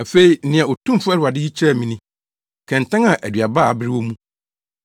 Afei nea Otumfo Awurade yi kyerɛɛ me ni: kɛntɛn a aduaba a abere wɔ mu.